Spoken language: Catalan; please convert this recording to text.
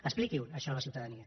expliqui ho això a la ciutadania